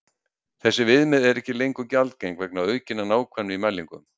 Þessi viðmið eru ekki lengur gjaldgeng vegna aukinnar nákvæmni í mælingum.